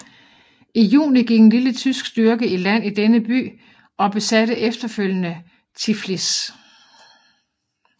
I juni gik en lille tysk styrke i land i denne by og besatte efterfølgende Tiflis